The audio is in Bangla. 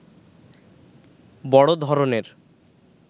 বড় ধরণের